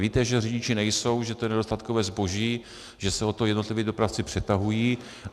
Víte, že řidiči nejsou, že to je nedostatkové zboží, že se o ně jednotliví dopravci přetahují.